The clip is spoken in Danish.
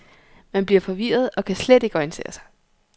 Man bliver forvirret og kan slet ikke orientere sig.